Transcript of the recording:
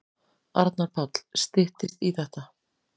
Arnar Páll: Styttist í þetta.